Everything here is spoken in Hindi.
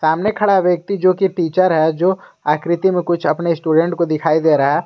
सामने खड़ा व्यक्ति जोकि टीचर है जो आकृति में कुछ अपने स्टूडेंट को दिखाई दे रहा है।